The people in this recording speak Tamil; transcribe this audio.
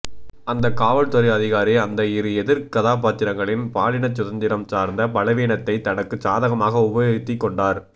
அந்தக் காவல்துறை அதிகாரி அந்த இரு எதிர் கதாபாத்திரங்களின் பாலினச் சுதந்திரம் சார்ந்த பலவீனத்தைத் தனக்குச் சாதகமாக உபயோகித்துக் கொண்டார்